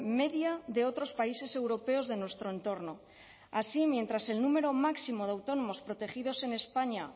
media de otros países europeos de nuestro entorno así mientras el número máximo de autónomos protegidos en españa